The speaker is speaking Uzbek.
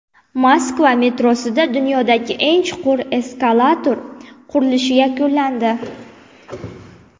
Moskva metrosida dunyodagi eng chuqur eskalator qurilishi yakunlandi.